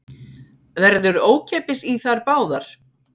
Verður ókeypis í þær báðar